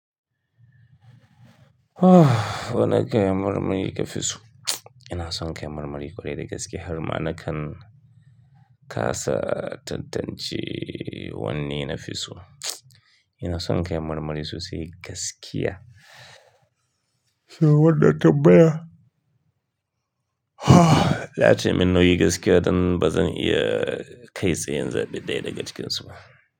Wani kayan marmari kafi so? Ina son kayan marmari kwarai da gaske har ma na kan kasa tantance wane nafi so. Ina son kayan marmari sosai gaskiya. Shin wannan tambaya? Zatai! Min nauyi gaskiya don ba zan iya kai tsaye na zabe ɗaya daga cikinsu ba.